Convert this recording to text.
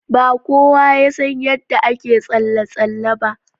Ba kowa ya san yadda ake tsalle tsalle ba.